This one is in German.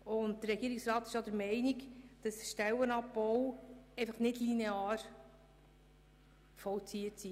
Der Regierungsrat ist auch der Meinung, ein Stellenabbau sei nicht linear vorzunehmen.